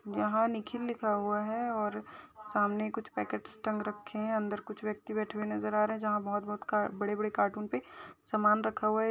यहाँ निखिल लिखा हुआ हैं और सामने कुछ पैकेट्स टंग रखे है। अंदर कुछ व्यक्ति बैठे हुए नज़र आ रहे हैं। जहाँ बहुत बहुत का बड़े-बड़े कार्टून पे सामान रखा हुआ हैं।